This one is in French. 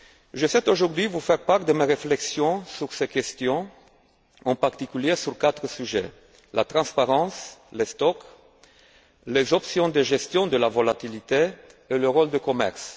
Je souhaite aujourd'hui vous faire part de mes réflexions sur ces questions, en particulier sur quatre sujets la transparence, les stocks, les options de gestion de la volatilité et le rôle du commerce.